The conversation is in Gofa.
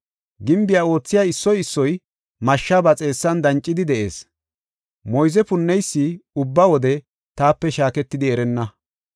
Gimbiya oothiya issoy issoy mashshe ba xeessan dancidi de7ees. Moyze punneysi ubba wode taape shaaketidi erenna.